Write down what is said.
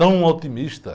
Tão otimista.